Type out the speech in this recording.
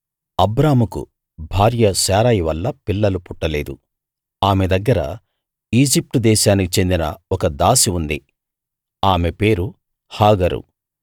అబ్రాముకు భార్య శారయి వల్ల పిల్లలు పుట్టలేదు ఆమె దగ్గర ఈజిప్ట్ దేశానికి చెందిన ఒక దాసి ఉంది ఆమె పేరు హాగరు